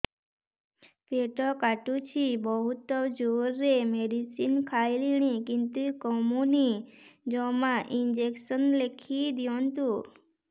ପେଟ କାଟୁଛି ବହୁତ ଜୋରରେ ମେଡିସିନ ଖାଇଲିଣି କିନ୍ତୁ କମୁନି ଜମା ଇଂଜେକସନ ଲେଖିଦିଅନ୍ତୁ